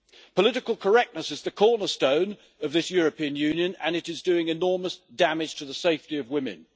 Political correctness is the cornerstone of this European Union and it is doing enormous damage to the safety of women.